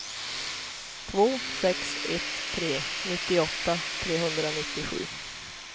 två sex ett tre nittioåtta trehundranittiosju